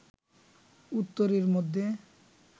উত্তরীর মধ্যে